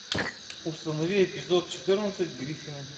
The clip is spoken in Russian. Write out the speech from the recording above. установи эпизод четырнадцать гриффины